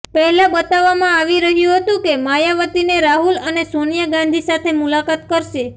પહેલા બતાવવામાં આવી રહ્યું હતું કે માયાવતીને રાહુલ અને સોનિયા ગાંધી સાથે મુલાકાત કરશે